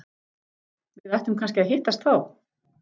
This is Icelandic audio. Við ættum kannski að hittast þá!